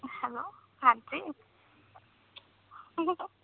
hello ਹਾਂਜੀ